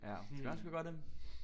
Ja det kunne være jeg skulle gøre det